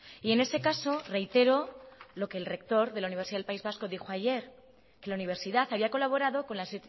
y en ese caso reitero lo que el rector de la universidad del país vasco dijo ayer que la universidad había colaborado con las